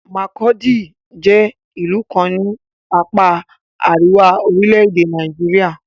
Makurdi jẹ́ ìlú kan ní apá àríwá orílẹ̀-èdè Nàìjíríà.